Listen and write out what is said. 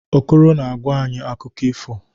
Okoro na-agwa anyị akụkọ ifo.